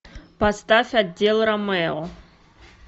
поставь отдел ромео